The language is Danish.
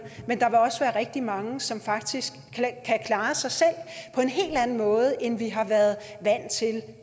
rigtig mange som faktisk kan klare sig selv på en helt anden måde end vi har været vant til